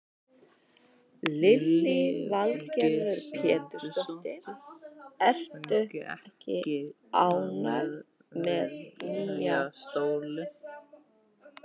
Lillý Valgerður Pétursdóttir: Ertu ekki ánægð með nýja stólinn?